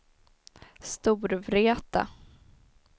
Storvreta